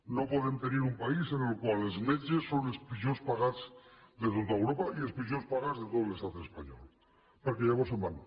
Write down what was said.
no podem tenir un país en el qual els metges són els pitjor pagats de tot europa i els pitjor pagats de tot l’estat espanyol perquè llavors se’n van